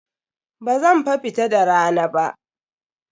Bazan fa fita da rana ba.